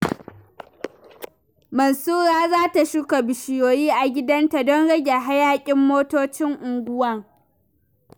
Mansura za ta shuka bishiyoyi a gidanta don rage hayakin motocin unguwa.